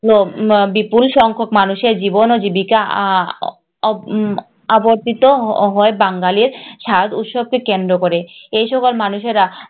হল আহ বিপুল সংখক মানুষের জীবন ও জীবিকা আহ হয় বাঙালির স্বাদ উৎসব কে কেন্দ্র করে এই সকল মানুষেরা